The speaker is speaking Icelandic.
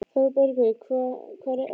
ÞÓRBERGUR: Hvar hef ég ekki verið!